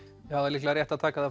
líklega rétt að taka